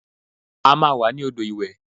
A máa wà ní odò ìwẹ̀